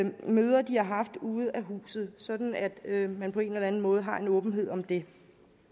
møder de har haft ude af huset sådan at man på en eller anden måde har en åbenhed om det